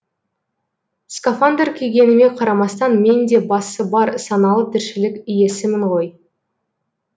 скафандр кигеніме қарамастан мен де басы бар саналы тіршілік иесімін ғой